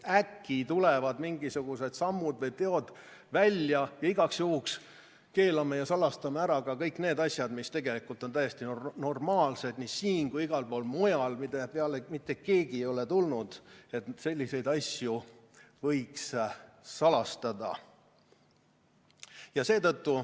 Äkki tulevad mingisugused sammud või teod välja, igaks juhuks keelame ja salastame ära ka kõik need asjad, mis tegelikult on täiesti normaalsed nii siin kui ka igal pool mujal, mille puhul mitte keegi ei ole tulnud selle peale, et selliseid asju võiks salastada.